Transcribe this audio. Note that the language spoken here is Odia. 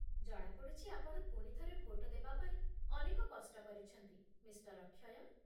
ଜଣାପଡ଼ୁଛି, ଆପଣ ପୁଣିଥରେ ଭୋଟ ଦେବାପାଇଁ ଅନେକ କଷ୍ଟ କରିଛନ୍ତି, ମିଃ. ଅକ୍ଷୟ